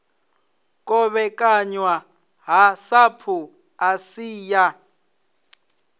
kovhekanywa ha sapu asi ya